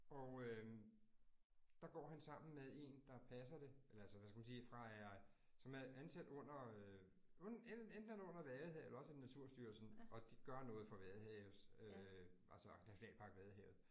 Og øh, der går han sammen med 1, der passer det eller altså hvad skal man sige fra er, som er ansat under øh enten er det under Vadehavet eller også er det Naturstyrelsen. Og de gør noget for Vadehavet altså Nationalpark Vadehavet